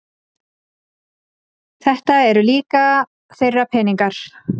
Þetta eru líka þeirra peningar